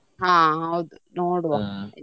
ಹಾ ಹೌದು ನೋಡುವ.